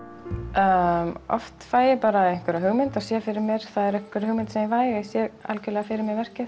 já oft fæ ég bara einhverja hugmynd og sé fyrir mér það er einhver hugmynd sem ég fæ og ég sé algjörlega fyrir mér verkið